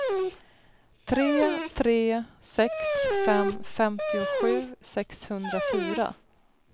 tre tre sex fem femtiosju sexhundrafyra